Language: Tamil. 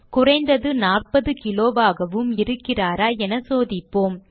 குறைந்தது 40 கிலோவாகவும் இருக்கிறாரா என சோதிப்போம்